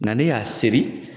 Nga ne y'a seri